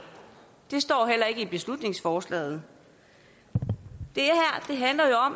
det står heller ikke i beslutningsforslaget det